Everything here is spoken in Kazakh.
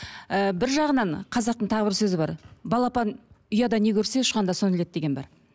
ііі бір жағынан қазақтың тағы бір сөзі бар балапан ұяда не көрсе ұшқанда соны іледі деген бар